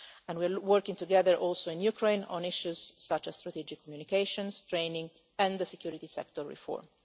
We are also working together in Ukraine on issues such as strategic communications, training and security sector reform.